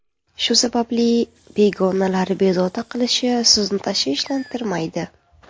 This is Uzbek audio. Shu sababli, begonalar bezovta qilishi sizni tashvishlantirmaydi.